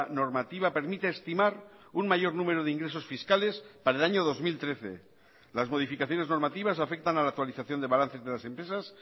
normativa permite estimar un mayor número de ingresos fiscales para el año dos mil trece las modificaciones normativas afectan a la actualización de balances de las empresas